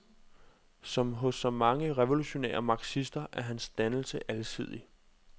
Som hos så mange revolutionære marxister er hans dannelse alsidig.